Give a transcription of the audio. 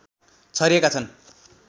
छरिएका छन्